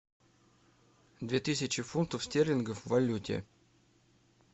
две тысячи фунтов стерлингов в валюте